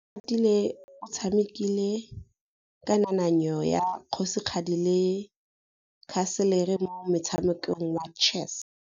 Oratile o tshamekile kananyô ya kgosigadi le khasêlê mo motshamekong wa chess.